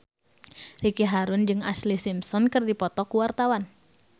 Ricky Harun jeung Ashlee Simpson keur dipoto ku wartawan